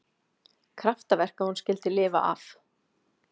Kraftaverk að hún skyldi lifa af